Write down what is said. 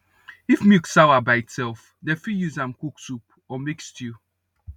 if milk sawa by itself dem fit use am cook soup or make stew